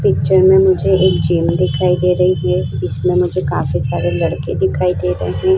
Picture मे मुझे एक जीम दिखाई दे रही है उसके नीचे काफी सारे लड़के दिखाई दे रहे है।